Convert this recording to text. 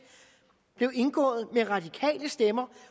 blev indgået med radikale stemmer